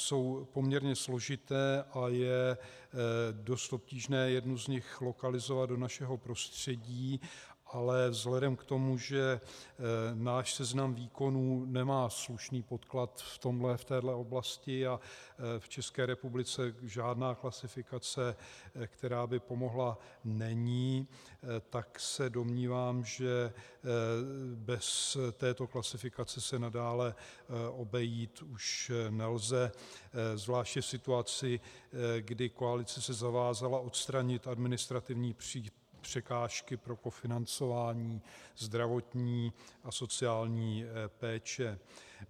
Jsou poměrně složité a je dost obtížné jednu z nich lokalizovat do našeho prostředí, ale vzhledem k tomu, že náš seznam výkonů nemá slušný podklad v téhle oblasti a v České republice žádná klasifikace, která by pomohla, není, tak se domnívám, že bez této klasifikace se nadále obejít už nelze zvláště v situaci, kdy koalice se zavázala odstranit administrativní překážky pro kofinancování zdravotní a sociální péče.